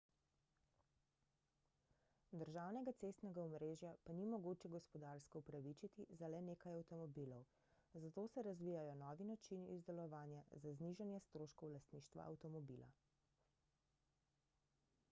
državnega cestnega omrežja pa ni mogoče gospodarsko upravičiti za le nekaj avtomobilov zato se razvijajo novi načini izdelovanja za znižanje stroškov lastništva avtomobila